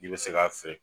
I bɛ se k'a feere